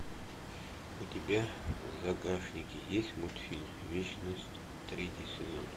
у тебя в загашнике есть мультфильм вечность третий сезон